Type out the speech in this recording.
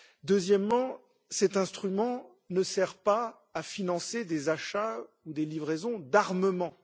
Deuxièmement, cet instrument ne sert pas à financer des achats ou des livraisons d'armements.